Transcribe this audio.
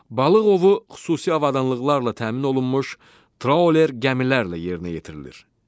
Balıq ovu xüsusi avadanlıqlarla təmin olunmuş trawler gəmilərlə yerinə yetirilir.